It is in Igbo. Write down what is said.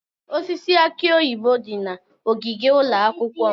Osisi aki oyibo dị na ogige ụlọ akwụkwọ m.